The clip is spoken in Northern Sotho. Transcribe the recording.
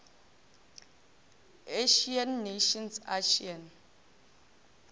asian nations asean